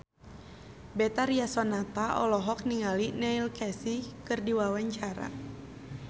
Betharia Sonata olohok ningali Neil Casey keur diwawancara